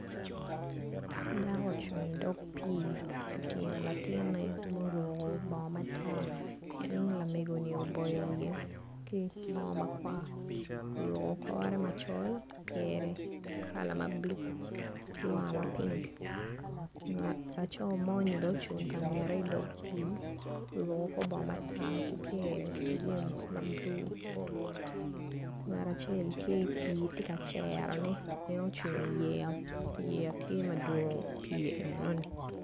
Dako ocung idog pii otingo latine muruko bongo matar en lamegoni oboyo wiye ki bongo makwar oruko kore macol pyere kala ma bulu ki war pink laco moni bene ocung kangete idog pii oruko kor bongo matar ki pyer jeans ma bulu ngat acel tye i pii tye ka cerone en ocung iyeya yeya tye madwong i pii enoni.